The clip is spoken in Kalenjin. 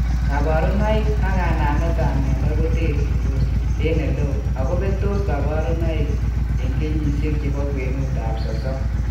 Kabarunoik ak kanamet ab myondo koterchindos en eleo ago betos kabarunoik in kenyisiek chebo kwenut ab sosom